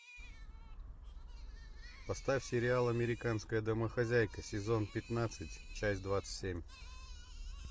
поставь сериал американская домохозяйка сезон пятнадцать часть двадцать семь